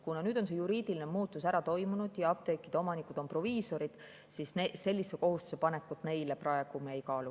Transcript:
Kuna nüüd on see juriidiline muutus toimunud ja apteekide omanikud on proviisorid, siis sellise kohustuse panekut neile me praegu ei kaalu.